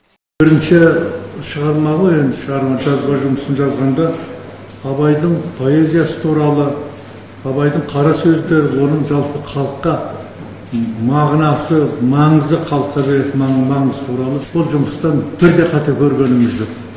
бірінші шығарма ғой енді шығарма жазба жұмысын жазғанда абайдың поэзиясы туралы абайдың қара сөздерін оның жалпы халыққа мағынасы маңызы халыққа беретін маңызы туралы сол жұмыстан бірде қате көргеніміз жоқ